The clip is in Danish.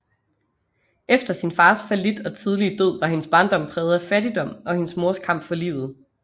Efter sin fars fallit og tidlige død var hendes barndom præget af fattigdom og hendes mors kamp for livet